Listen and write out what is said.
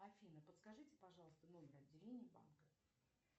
афина подскажите пожалуйста номер отделения банка